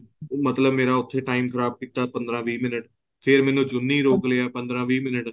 ਮਤਲਬ ਮੇਰਾ ਉੱਥੇ time ਖ਼ਰਾਬ ਕੀਤਾ ਪੰਦਰਾਂ ਵੀਹ minute ਫ਼ੇਰ ਮੈਨੂੰ ਚੁੰਨੀ ਰੋਕ ਲਿਆ ਪੰਦਰਾਂ ਵੀਹ minute